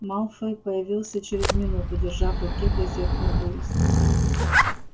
малфой появился через минуту держа в руке газетную вырезку